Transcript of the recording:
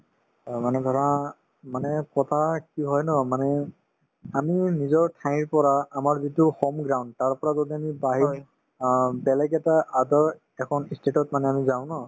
অ, মানে ধৰা মানে কথা কি হয় ন মানে আমি নিজৰ ঠাইৰ পৰা আমাৰ যিটো তাৰপৰা যদি আমি বাহিৰ অ বেলেগ এটা other এখন ই state তত মানে আমি যাওঁ ন